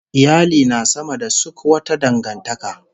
Iyali na sama da suk wata dangantaka